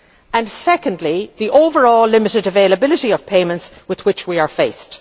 and, secondly, the overall limited availability of payments which we